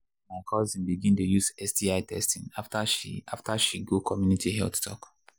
my cousin begin dey use sti testing after she after she go community health talk.